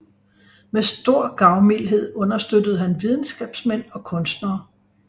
Med stor gavmildhed understøttede han videnskabsmænd og kunstnere